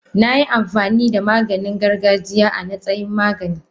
Nayi amfanida Maganin gargajiya a natsayin magani.